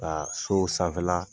Ka so sanfɛ la